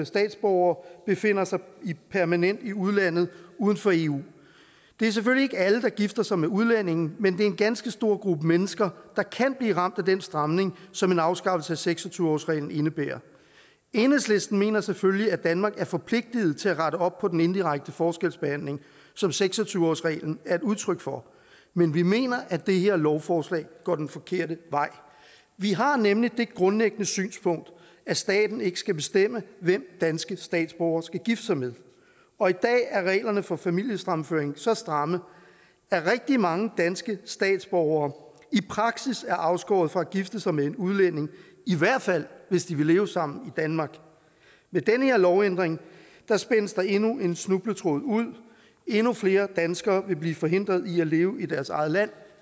statsborgere befinder sig permanent i udlandet uden for eu det er selvfølgelig ikke alle der gifter sig med en udlænding men det er en ganske stor gruppe mennesker der kan blive ramt af den stramning som en afskaffelse af seks og tyve årsreglen indebærer enhedslisten mener selvfølgelig at danmark er forpligtet til at rette op på den indirekte forskelsbehandling som seks og tyve årsreglen er et udtryk for men vi mener at det her lovforslag går den forkerte vej vi har nemlig det grundlæggende synspunkt at staten ikke skal bestemme hvem danske statsborgere skal gifte sig med og i dag er reglerne for familiesammenføring så stramme at rigtig mange danske statsborgere i praksis er afskåret fra at gifte sig med en udlænding i hvert fald hvis de vil leve sammen i danmark med den her lovændring spændes der endnu en snubletråd ud og endnu flere danskere vil blive forhindret i at leve i deres eget land